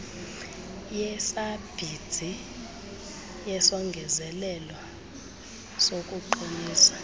yesabhsidi yesongezelelo sokuqinisa